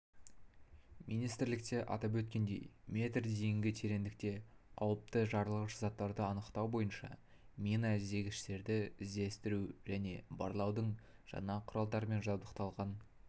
министрлікте атап өткендей метр дейінгі тереңдікте қауіпті жарылғыш заттарды анықтау бойынша мина іздегіштерді іздестіру және барлаудың жаңа құралдарымен жабдықталған